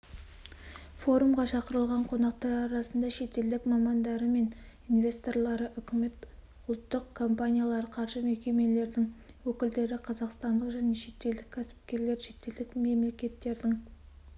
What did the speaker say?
форумға шақырылған қонақтар арасында шетелдік мамандары мен инвесторлары үкімет ұлттық компаниялар қаржы мекемелерінің өкілдері қазақстандық және шетелдік кәсіпкерлер шетелдік мемлекеттердің